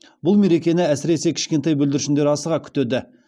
бұл мерекені әсіресе кішкентай бүлдіршіндер асыға күтеді